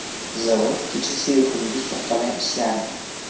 Zavod kechasiyu kunduz to‘xtamay ishlardi.